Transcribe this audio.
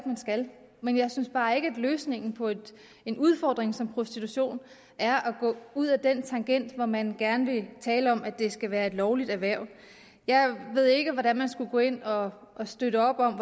man skal men jeg synes bare ikke at løsningen på en udfordring som prostitution er at gå ud ad den tangent hvor man gerne vil tale om at det skal være et lovligt erhverv jeg ved ikke hvordan man skulle gå ind og og støtte op om